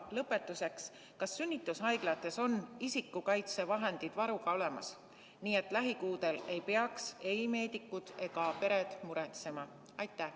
Ja lõpetuseks: kas sünnitushaiglates on isikukaitsevahendid varuga olemas, nii et lähikuudel ei peaks ei meedikud ega pered muretsema?